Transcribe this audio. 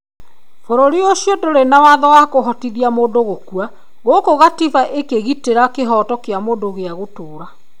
Bũrũri ũcio ndũrĩ na watho wa kũhotithia mũndũ gũkua. Gũkũ Katiba ĩkĩgitĩra kĩhooto kĩa mũndũ gĩa gũtũũra.